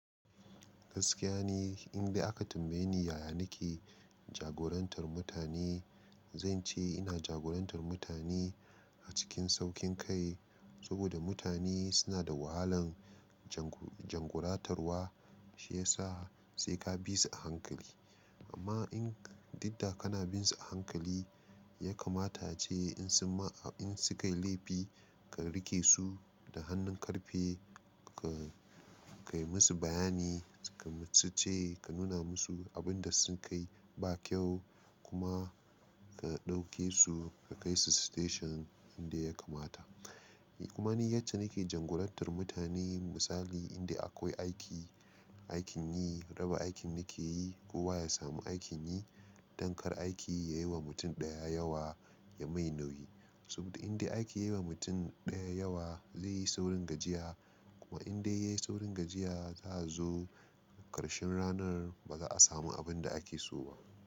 Gaskiya ni in dai aka tambaye ni yaya nake jagorantar mutane, zan ce ina jagorantar mutane a cikin saukin kai. Saboda mutane suna da wahalan janguratarwa, shi yasa sai ka bi su a hankali. Amma in didda kana bin su a hankali, ya kamata ce in sun ma, in su kai laifi ka rike su da hannun karfe, ka kai musu bayani, ka ce, ka nuna musu abin da sun kai ba kyau kuma ka ɗauke su ka kai su station inda ya kamata. Kuma ni yace nake jagorantar mutane. Misali inda akwai aiki, aikin yi, raba aikin nake yi, kowa ya samu aikin yi. Dankar aiki yayi wa mutum ɗaya yawa ya mai nauyi. Saboda indai aike yi wa mutum ɗaya yawa zai yi saurin gajiya. Kuma indai yayi saurin gajiya, za su zo ƙarshen ranar ba za a samu abin da ake so ba.